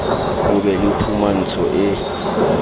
ho be le phumantsho e